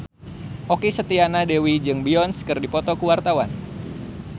Okky Setiana Dewi jeung Beyonce keur dipoto ku wartawan